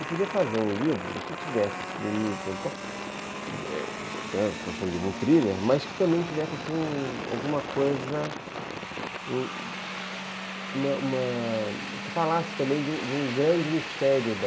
Eu podia fazer um livro que tivesse esses enigmas e tal, que fosse um livro, um thriller, mas que também tivesse alguma coisa... Uma, uma, que falasse também de um grande mistério da...